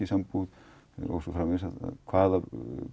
í sambúð og svo framvegis hvaða